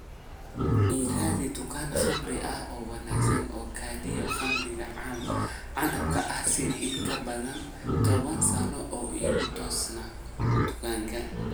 ii raadi dukaan khamri ah oo wanaagsan oo kaydiya khamriga canabka ah sida in ka badan toban sano oo igu toosi dukaankaas